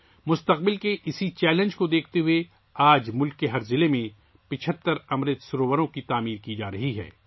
مستقبل کے اس چیلنج کو مدنظر رکھتے ہوئے ، آج ملک کے ہر ضلع میں 75 امرت سروور بنائے جا رہے ہیں